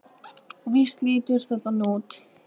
Og víst lítur það þannig út.